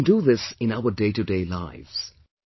We can do this in our day to day lives